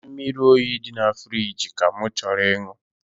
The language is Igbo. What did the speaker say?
Mmiri oyi dị na firigi ka m chọrọ ịṅụ